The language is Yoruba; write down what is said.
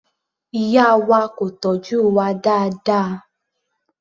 Ìyá wa kò tọ́jú wa dáadáa.